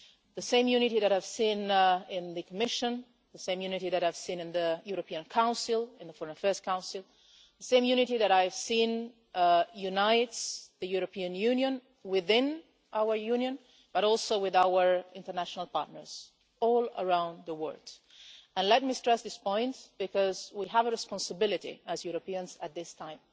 It is the same unity that I have seen in the Commission, the same unity that I have seen in the European Council, in the Foreign Affairs Council, and the same unity that I have seen uniting the European Union within our Union, but also with our international partners all around the world. Let me stress this point because we have a responsibility as Europeans at this time.